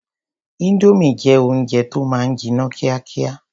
Indomie jẹ́ oúnjẹ tó máa ń jiná kíákíá.